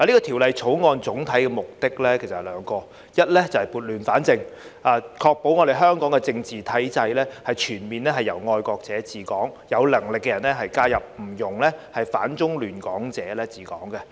《條例草案》總體目的有兩個，一是要撥亂反正，確保香港政治體制全面由"愛國者治港"，有能力的人才加入，不容反中亂港者治港。